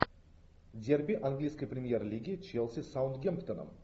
дерби английской премьер лиги челси с саутгемптоном